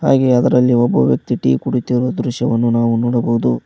ಹಾಗೆ ಅದರಲ್ಲಿ ಒಬ್ಬ ವ್ಯಕ್ತಿ ಟೀ ಕುಡಿಯುತ್ತಿರುವ ದೃಶ್ಯವನ್ನು ನಾವು ನೋಡಬಹುದು.